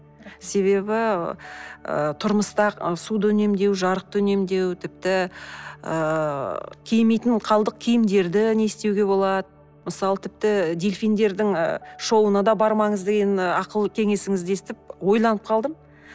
себебі ыыы тұрмыста суды үнемдеу жарықты үнемдеу тіпті ыыы кимейтін қалдық киімдерді не істеуге болады мысалы тіпті дельфиндердің і шоуына да бармаңыз деген ақыл кеңесіңізді естіп ойланып қалдым